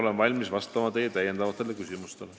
Olen valmis vastama teie täiendavatele küsimustele.